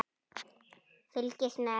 Fylgstu með!